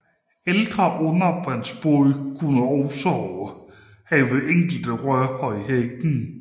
Ældre undervandsbåde kunne også have enkelte rør i hækken